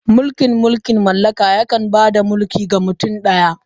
Mulkin mulkin mallaka yakan ba da mulki ga mutum ɗaya.